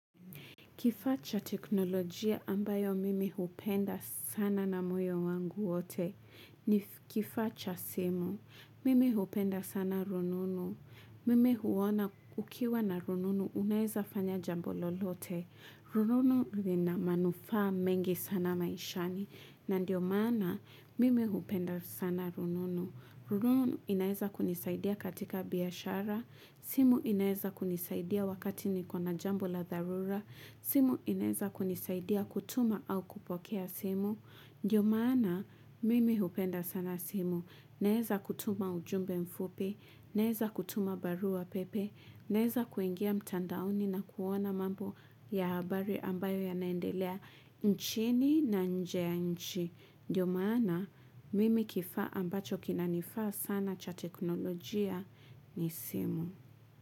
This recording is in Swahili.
Kifaa cha teknolojia, ambayo mimi hupenda sana na moyo wangu wote ni kifaa cha simu Mimi hupenda sana rununu Mimi huona ukiwa na rununu unaeza fanya jambo lolote. Rununu lina manufaa mengi sana maishani. Na ndio maana mimi hupenda sana rununu. Rununu inaeza kunisaidia katika biashara. Simu inaweza kunisaidia wakati niko na jambo la dharura simu inaweza kunisaidia kutuma au kupokea simu, Ndio maana, mimi hupenda sana simu Naweza kutuma ujumbe mfupi, naweza kutuma barua pepe, naweza kuingia mtandaoni na kuona mambo ya habari, ambayo yana endelea nchini na nje ya nchi Ndio maana, mimi kifaa ambacho kinanifaa sana cha teknolojia ni simu.